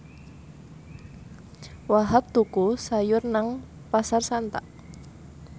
Wahhab tuku sayur nang Pasar Santa